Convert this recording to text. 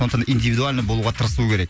сондықтан индивидуальный болуға тырысу керек